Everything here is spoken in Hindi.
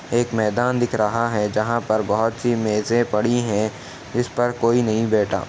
एक मैदान दिख रहा है जहां पर बोहोत सी मेजें पड़ी हैं जिस पर कोई नहीं बैठा।